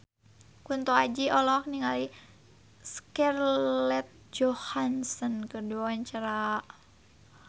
Kunto Aji olohok ningali Scarlett Johansson keur diwawancara